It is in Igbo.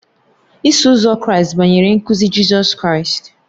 Iso Ụzọ Kraịst banyere nkuzi Jizọs Kraịst.